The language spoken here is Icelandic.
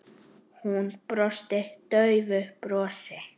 Hún brosti daufu brosi.